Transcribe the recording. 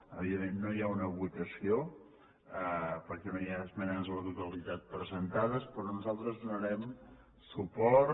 evidentment no hi ha una votació perquè no hi ha esmenes a la totalitat presentades però nosaltres hi donarem suport